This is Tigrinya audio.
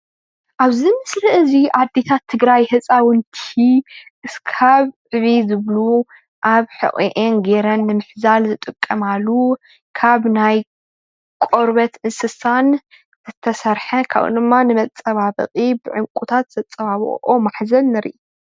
ኣብዚ ምስሊ እዚ ኣዴታት ትግራይ ህፃውንቲ ክሳብ ዕብይ ዝብሉ ኣብ ሑቑኤን ገይረን ንምሕዛል ዝጥቀማሉ ካብ ናይ ቆርበት እንስሳ ዝተሰርሐን ከምኡ ውን ድማ ንመፀባበቒ ብዕራቁታት ዝተፀባበቑ ማሕዘል ንሪኢ፡፡